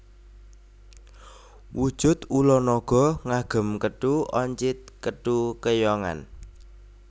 Wujud ula naga ngagem kethu oncit kethu keyongan